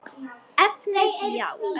Efnið já?